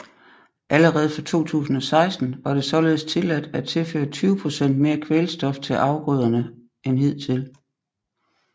Allerede fra 2016 var det således tilladt at tilføre 20 procent mere kvælstof til afgrøderne end hidtil